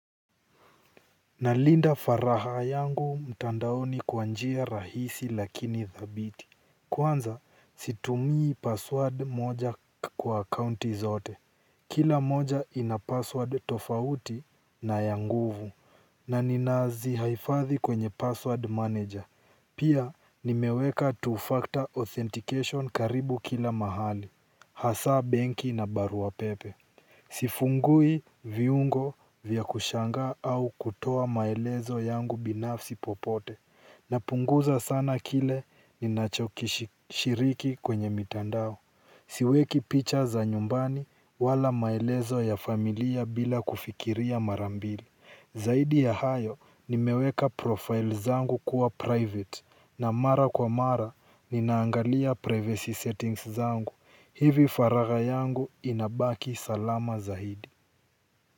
Nalinda faraha yangu mtandaoni kwa njia rahisi lakini thabiti kwanza situmii password moja kwa akaunti zote kila moja ina password tofauti na ya nguvu na ninaazi haifathi kwenye password manager pia nimeweka two factor authentication karibu kila mahali hasa benki na barua pepe. Sifungui viungo vya kushanga au kutoa maelezo yangu binafsi popote. Napunguza sana kile ninachokishiriki kwenye mitandao. Siweki picha za nyumbani wala maelezo ya familia bila kufikiria mara mbili. Zaidi ya hayo nimeweka profile zangu kuwa private. Na mara kwa mara ninaangalia privacy settings zangu. Hivi faraga yangu inabaki salama zaidi.